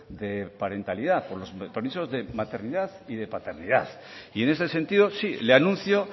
de parentalidad por los permisos de maternidad y de paternidad y en este sentido sí le anuncio